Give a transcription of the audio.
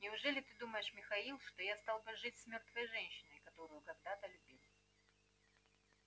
неужели ты думаешь михаил что я стал бы жить с мёртвой женщиной которую когда-то любил